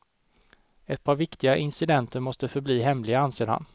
Ett par viktiga incidenter måste förbli hemliga, anser han.